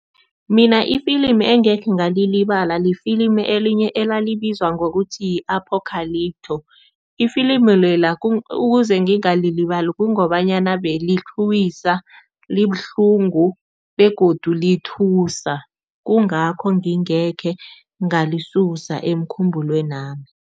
Mina ifilimu engekhe ngalilibala, lifilimu elinye elalibizwa ngokuthi yi-Apocalypto. Ifilimi lela ukuze ngingalilibali kungobanyana belitlhuwisa, libuhlungu begodu lithusa, kungakho ngingekhe ngalisusa emkhumbulwenami.